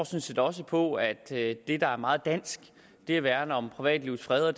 set også på at det er meget dansk at værne om privatlivets fred og